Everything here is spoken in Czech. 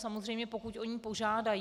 Samozřejmě pokud o ní požádají.